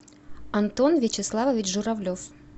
антон вячеславович журавлев